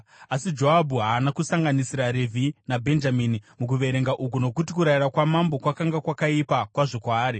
Asi Joabhu haana kusanganisira Revhi naBhenjamini mukuverenga uku, nokuti kurayira kwamambo kwakanga kwakaipa kwazvo kwaari.